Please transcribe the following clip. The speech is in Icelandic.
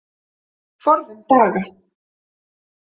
Forðum daga.